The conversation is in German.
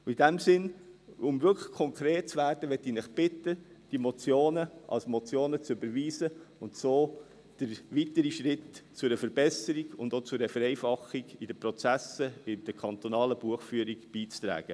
Und in diesem Sinne, um wirklich konkret zu werden, möchte ich Sie bitten, diese Motionen als Motionen zu überweisen und so zu weiteren Schritten für eine Verbesserung und auch zu einer Vereinfachung in den Prozessen der kantonalen Buchführung beizutragen.